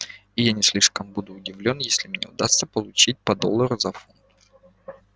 и я не слишком буду удивлён если мне удастся получить по доллару за фунт